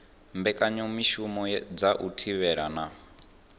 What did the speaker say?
mbekanyamushumo dza u thivhela na